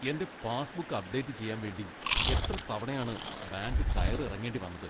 എൻ്റെ passbook update ചെയ്യാൻ വേണ്ടി എത്ര തവണയാണ് ബാങ്ക് കയറി ഇറങ്ങേണ്ടി വന്നത്!